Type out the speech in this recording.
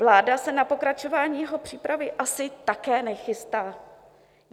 Vláda se na pokračování jeho přípravy asi také nechystá.